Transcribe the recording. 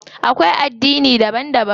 Akwai addini daban daban.